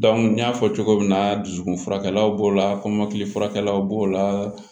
n y'a fɔ cogo min na dusukun furakɛlaw b'o la kɔmɔkili furakɛlaw b'o la